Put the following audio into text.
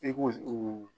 I ko o